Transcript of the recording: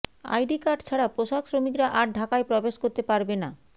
ID card ছাড়া পোশাক শ্রমিকরা আর ঢাকায় প্রবেশ করতে পারবে না